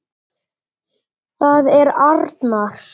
Það er arnar.